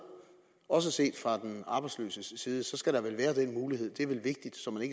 også set fra den arbejdsløses side skal der vel være den mulighed det er vel vigtigt så man